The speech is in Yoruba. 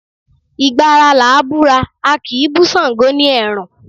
Ìgbà ara làá búra, a kì í bú Ṣàngó ni ẹ̀rùn